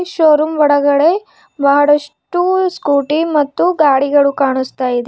Show room ಒಳಗಡೆ ಬಹಳಷ್ಟು scooty ಮತ್ತು ಗಾಡಿಗಳು ಕಾಣುಸ್ತ ಇದೆ.